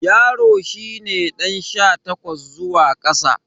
Yaro shi ne ɗan sha takwas zuwa ƙasa.